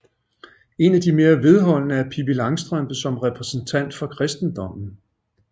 En af de mere vedholdende er Pippi Langstrømpe som repræsentant for kristendommen